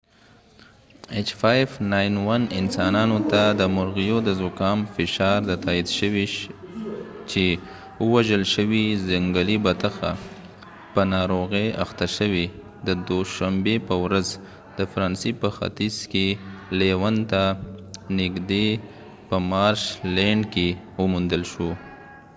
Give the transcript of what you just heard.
انسانانو ته د مرغیو د زکام فشار د h5n1، تاييد شوې چې وژل شوی ځنګلي بطخه په ناروغۍ اخته شوې، د دوشنبې په ورځ، د فرانسې په ختیځ کې لیون ته نږدې په مارش لینډ کې وموندل شو